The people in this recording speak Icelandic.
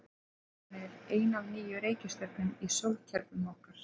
Jörðin er ein af níu reikistjörnum í sólkerfi okkar.